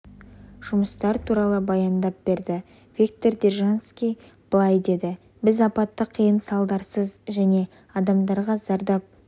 жұмыстар туралы баяндап берді виктор держанский былай деді біз апатты қиын салдарсыз және адамдарға зардап